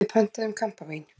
Við pöntuðum kampavín.